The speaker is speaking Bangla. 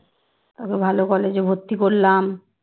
তোকে ভালো college ভর্তি করলাম